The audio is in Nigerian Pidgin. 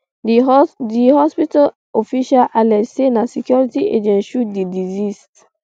di hospital official allege say na security agents shoot di deceased